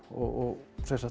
og